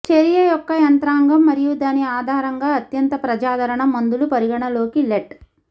చర్య యొక్క యంత్రాంగం మరియు దాని ఆధారంగా అత్యంత ప్రజాదరణ మందులు పరిగణలోకి లెట్